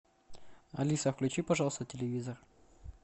алиса включи пожалуйста телевизор